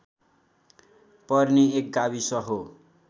पर्ने एक गाविस हो